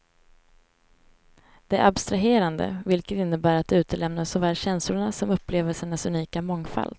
Det är abstraherande, vilket innebär att det utelämnar såväl känslorna som upplevelsernas unika mångfald.